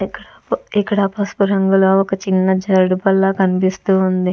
ఇక్కడ పసుపు రంగులో ఒక చిన్న జారుడుబల్ల కనిపిస్తూవుంది.